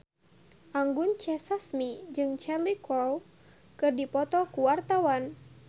Anggun C. Sasmi jeung Cheryl Crow keur dipoto ku wartawan